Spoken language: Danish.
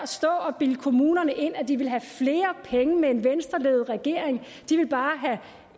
stå og bilde kommunerne ind at de ville have flere penge med en venstreledet regering de ville bare have